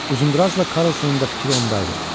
Uzundrazla Karlsonun da fikri onda idi.